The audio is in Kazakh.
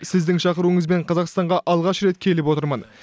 сіздің шақыруыңызбен қазақстанға алғаш рет келіп отырмын